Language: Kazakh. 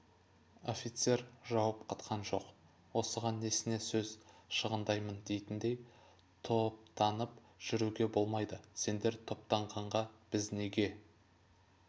офицер жауап қатқан жоқ осыған несіне сөз шығындаймын дейтіндей топтанып жүруге болмайды сендер топтанғанда біз неге